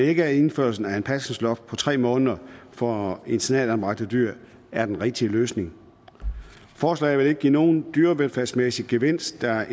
ikke at indførelsen af et pasningsloft på tre måneder for internatanbragte dyr er den rigtige løsning forslaget vil ikke give nogen dyrevelfærdsmæssig gevinst da